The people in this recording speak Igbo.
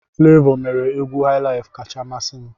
Flevoo mere egwu highlife kacha amasị m.